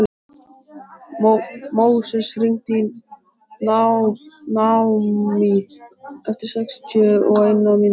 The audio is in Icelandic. Móses, hringdu í Naómí eftir sextíu og eina mínútur.